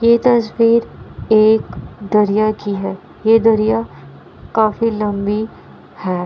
ये तस्वीर एक दरिया की है | ये दरिया काफी लंबी है।